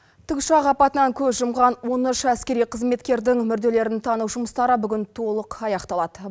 тікұшақ апатынан көз жұмған он үш әскери қызметкердің мүрделерін тану жұмыстары бүгін толық аяқталады